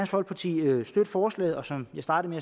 folkeparti støtte forslaget og som jeg startede